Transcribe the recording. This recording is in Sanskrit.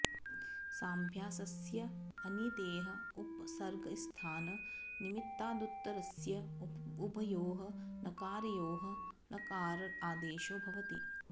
साभ्यासस्य अनितेः उपसर्गस्थान् निमित्तादुत्तरस्य उभयोः नकारयोः णकार आदेशो भवति